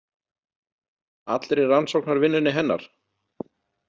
Allri rannsóknarvinnunni hennar?